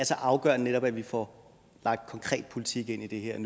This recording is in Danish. så afgørende at vi nu får lagt konkret politik ind i det her og